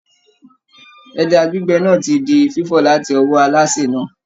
Ẹja gbígbẹ náà ti di fífọ̀ láti ọwọ́ alásè náà.